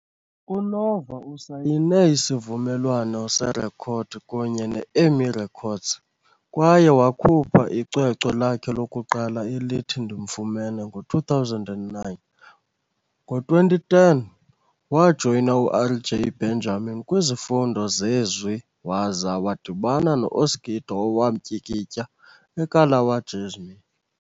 UNova usayine isivumelwano serekhodi kunye ne-EMI Records kwaye wakhupha icwecwe lakhe lokuqala elithi Ndimfumene ngo-2009. Ngo-2010, wajoyina uRJ Benjamin kwizifundo zezwi waza wadibana no-Oskido owamtyikitya eKalawa Jazmee.